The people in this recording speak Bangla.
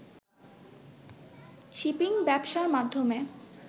শিপিং ব্যবসার মাধ্যমে